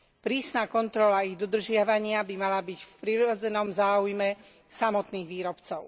Prísna kontrola ich dodržiavania by mala byť v prirodzenom záujme samotných výrobcov.